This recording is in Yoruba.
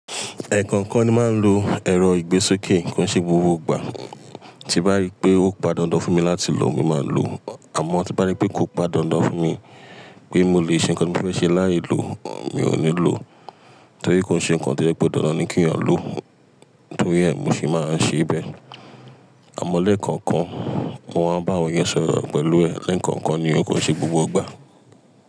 Ẹ̀ẹ̀kọ̀kan ni máa ń lo èrọ ìgbésókè kọ́n se gbogbo gbà. Tí nbá rí pé ó pon dáńdán fún mi láti lò, mo máa lò ọ́. Àmọ́ tí nbá rí pé kò pan dáńdán fún mi pé mo le ṣe nǹkan tí mo fẹ́ ṣe láì lò, mi ò ní lò ó. Torí kò ṣe nǹkan tí ó jẹ́pe dáńdán kí èèyàn lò ó, torí ẹ̀, mo se máa ń ṣe bẹ́ẹ̀. Àmọ́ léẹ̀kọ̀ọ̀kan mo máa bá awon eyàn sọ̀rọ̀ pẹ̀lú ẹ̀, léẹ̀kọ̀ọ̀kan ni ó kò ṣe gbogbo gbà.